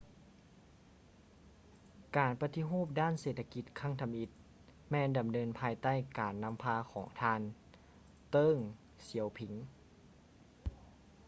ການປະຕິຮູບດ້ານເສດຖະກິດຄັ້ງທຳອິດ ແມ່ນດຳເນີນພາຍໃຕ້ການນຳພາຂອງທ່ານ ເຕີ້ງ ສຽວຜິງ